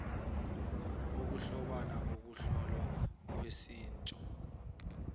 ukuhlobana kokuhlolwa koshintsho